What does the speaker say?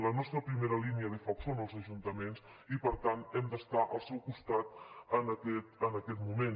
la nostra primera línia de foc són els ajuntaments i per tant hem d’estar al seu costat en aquest moment